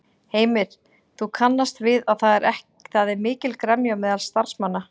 Heimir: Þú kannast við að það er mikil gremja á meðal starfsmanna?